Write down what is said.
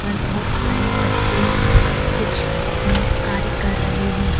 पर बहोत सारे बच्चे कुछ अपने कार्य कर रहे हैं।